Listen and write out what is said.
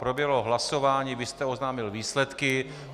Proběhlo hlasování, vy jste oznámil výsledky.